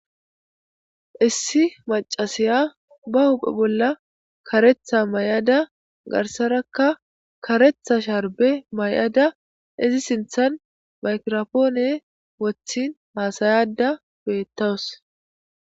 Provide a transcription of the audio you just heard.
Issi macasiya ba huphphe bolla kareeththa mayada garsarakka kareeththa sharbe mayada izi siinththan makiropoone woththin haasayada beettawus